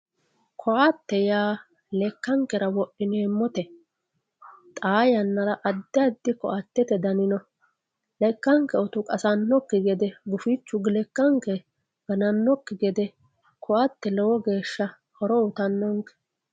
Koate yaa lekankera wodhineemote xaa yanara adi adi koatete dani no, leka'nke utu qasanokki gede gufichu leka'nke gananoki gede koate lowo geesha horo uyitano'nke